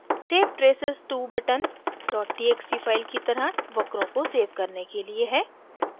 save traces to button txt file की तरह वक्रों को सेव करने के लिए है